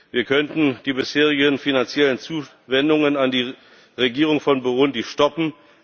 Wir könnten die bisherigen finanziellen Zuwendungen an die Regierung von Burundi stoppen